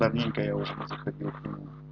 давненько я уже не заходил к нему